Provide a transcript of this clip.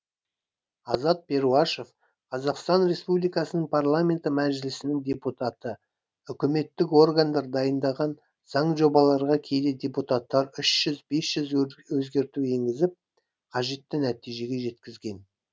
азат перуашев қазақстан республикасының парламенті мәжілісінің депутаты үкіметтік органдар дайындаған заң жобаларға кейде депутаттар үш жүз бес жүз өзгерту енгізіп қажетті нәтижеге жеткізген